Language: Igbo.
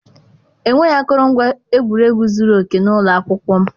Enweghị akụrụngwa egwuregwu zuru oke n'ụlọ akwụkwọ m.